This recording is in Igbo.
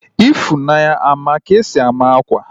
Ifunanya a ma ka-esi ama akwa?